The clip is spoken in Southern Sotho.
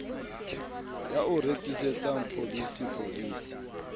ya o rekisetsang pholisi pholisi